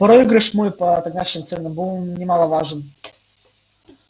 проигрыш мой по тогдашним ценам был немаловажен